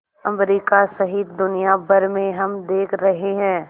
America सहित दुनिया भर में हम देख रहे हैं